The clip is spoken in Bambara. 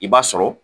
I b'a sɔrɔ